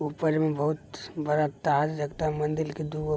ऊपर में बहुत बड़ा तार लगता है मंदिर के दूगो --